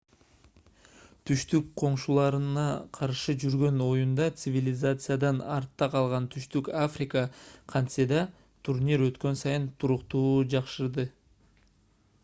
түштүк коңшуларына каршы жүргөн оюнда цивилизациядан артта калган түштүк африка кантесе да турнир өткөн сайын туруктуу жакшырды